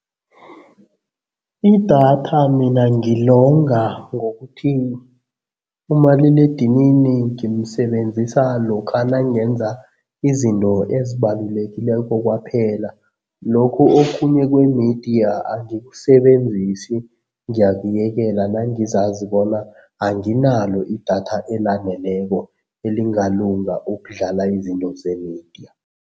Idatha mina ngilonga ngokuthi umaliledinini ngimsebenzisa lokha nangenza izinto ezibalulekileko kwaphela, lokhu okhunye kwemidiya angikusebenzisi, ngiyakuyekela nangizazi bona anginalo idatha elaneleko elingalunga ukudlala izinto zemidiya.